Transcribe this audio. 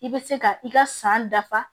I bɛ se ka i ka san dafa